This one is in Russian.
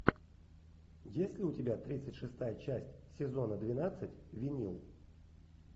есть ли у тебя тридцать шестая часть сезона двенадцать винил